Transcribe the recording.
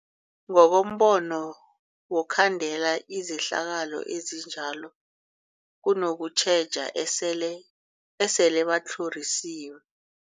Ngokombono wokhandela izehlakalo ezinjalo kunokutjheja esele esele batlhorisiwe.